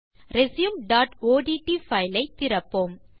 resumeஒட்ட் file ஐ திறப்போம்